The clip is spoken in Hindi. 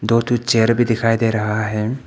दो ठो चेयर भी दिखाई दे रहा है।